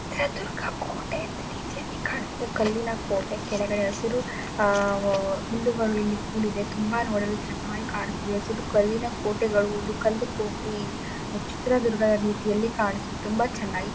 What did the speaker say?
ಚಿತ್ರದುರ್ಗಾ ಕೋಟೆ ರೀತಿಯಲ್ಲಿ ಕಾಣುತ್ತಿದೆ. ಕಲ್ಲಿನ ಕೋಟೆ ಕೆಳಗೆ ಹಸಿರು ಅಹ್ ಹುಲುಗಳು ಇಲ್ಲಿ ಕೊಡಿದೆ ತುಂಬಾ ನೂಡಲು ಚೆನ್ನಾಗಿ ಕಾಣಿಸುತ್ತಿದೆ. ಹಸಿರು ಕಲ್ಲಿನ ಕೋಟೆಗಳು ಇದು ಕಲ್ಲು ಕೋಟೆ ಚಿತ್ರದುರ್ಗಾ ರೀತಿಯಲ್ಲಿ ಕಾಣಿಸುತ್ತದೆ ತುಂಬಾ ಚನ್ನಾಗಿ--